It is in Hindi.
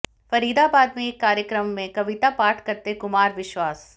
फरीदाबाद में एक कार्यक्रम में कविता पाठ करते कुमार विश्वास